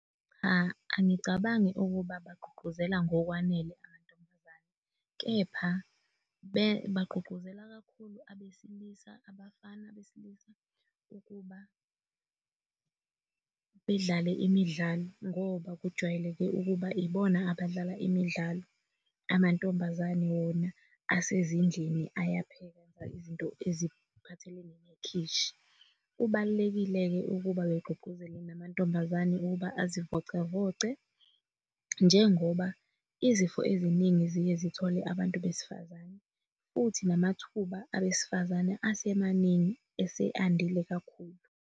Cha, angicabangi ukuba bagqugquzela ngokwanele amantombazane kepha bagqugquzela kakhulu abesilisa, abafana besilisa ukuba bedlale imidlalo ngoba kujwayeleke ukuba ibona abadlala imidlalo. Amantombazane wona asezindlini ayapheka izinto eziphathelene nekhishi. Kubalulekile-ke ukuba begqugqquzele namantombazane ukuba azivocavoce njengoba izifo eziningi ziye zithole abantu besifazane futhi namathuba abesifazane asemaningi ase andile kakhulu.